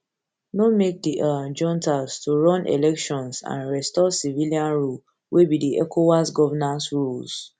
no make di um juntas to run elections and elections and restore civilian rule wey be di ecowas governance rules